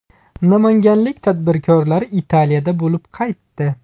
Namanganlik tadbirkorlar Italiyada bo‘lib qaytdi.